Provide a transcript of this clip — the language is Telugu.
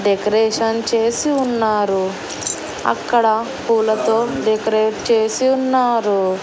డెకరేషన్ చేసి ఉన్నారు అక్కడ పూలతో డెకరేట్ చేసి ఉన్నారు.